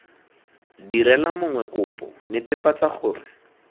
direla mongwe kopo netefatsa gore